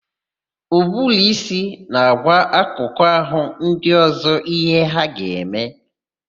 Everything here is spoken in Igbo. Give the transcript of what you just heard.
Ụbụrụísí na-agwa akụkụ àhụ́ ndị ọ̀zọ́ íhé ha ga-eme.